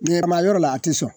Ɲɛrma yɔrɔ la a te sɔn